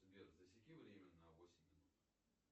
сбер засеки время на восемь минут